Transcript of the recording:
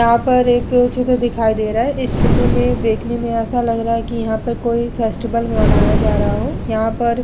यहाँ पर एक चित्र दिखाई दे रहा है इस चित्र में देखने में ऐसा लग रहा है कि यहाँ पर कोई फेस्टिवल मनाया जा रहा हो। यहाँ पर --